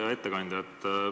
Hea ettekandja!